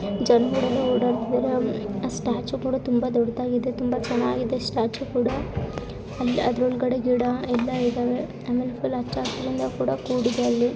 ಜನಗಳೆಲ್ಲ ಓಡಾಡುತ್ತಿದ್ದಾರೆ ಆ ಸ್ಟ್ಯಾಚು ಕೂಡ ತುಂಬಾ ದೊಡ್ಡದಾಗಿದೆ ತುಂಬಾ ಚೆನ್ನಾಗಿದೆ. ಸ್ಟ್ಯಾಚು ಕೂಡ ಅದ್ರೊಳಗಡೆ ಗಿಡ ಎಲ್ಲಾ ಇದವೆ ಆಮೇಲೆ ಫುಲ್ ಹಚ್ಚಸಿರಿಂದ ಕೂಡ ಕೂಡಿದೆ ಅಲ್ಲಿ.